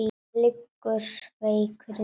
Liggur veikur undir teppi.